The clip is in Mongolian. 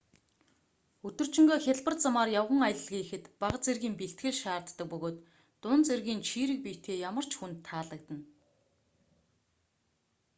өдөржингөө хялбар замаар явган аялал хийхэд бага зэргийн бэлтгэл шаарддаг бөгөөд дунд зэргийн чийрэг биетэй ямар ч хүнд таалагдана